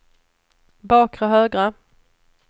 bakre högra